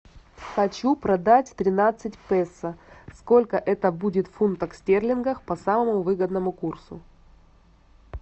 хочу продать тринадцать песо сколько это будет в фунтах стерлингов по самому выгодному курсу